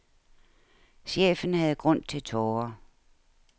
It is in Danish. Chefen havde grund til tårer.